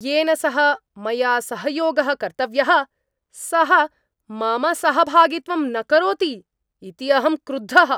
येन सह मया सहयोगः कर्तव्यः, सः मम सहभागित्वं न करोति इति अहं क्रुद्धः।